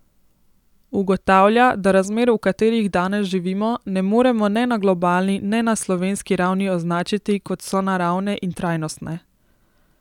Ugotavlja, da razmer, v katerih danes živimo, ne moremo ne na globalni ne na slovenski ravni označiti kot sonaravne in trajnostne.